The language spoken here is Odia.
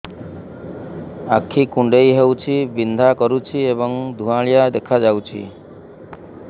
ଆଖି କୁଂଡେଇ ହେଉଛି ବିଂଧା କରୁଛି ଏବଂ ଧୁଁଆଳିଆ ଦେଖାଯାଉଛି